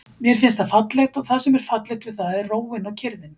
Mér finnst það fallegt og það sem er fallegt við það er róin og kyrrðin.